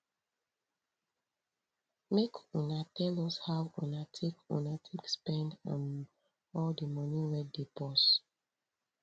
make una tell us how una take una take spend um all di moni wey dey purse